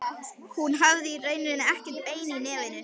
Hún hafði í rauninni ekkert bein í nefinu.